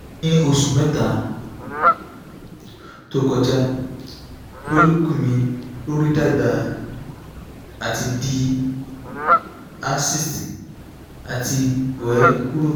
ni oṣu mẹta to kọja follicle mi lori dagba ati di a cyst ati wẹ kuro